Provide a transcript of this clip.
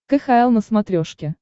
кхл на смотрешке